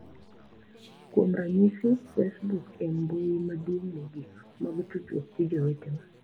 Kuom ranyisi, Facebook e mbui madongo mogik mag tudruok gi jowetewa.